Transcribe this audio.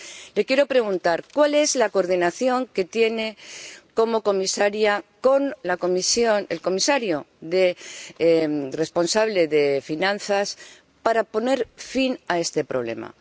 Le quiero preguntar ¿cuál es la coordinación que tiene como comisaria con el comisario responsable de finanzas para poner fin a este problema?